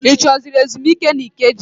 Ị chọrọ ezumike n'Ikeja?